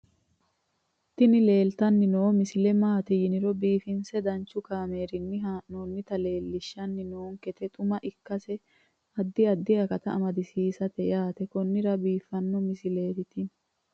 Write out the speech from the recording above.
tini leeltanni noo misile maaati yiniro biifinse danchu kaamerinni haa'noonnita leellishshanni nonketi xuma ikkase addi addi akata amadaseeti yaate konnira biiffanno misileeti tini